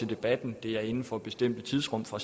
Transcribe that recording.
debatten det er inden for bestemte tidsrum fra